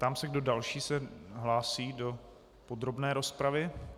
Ptám se, kdo další se hlásí do podrobné rozpravy.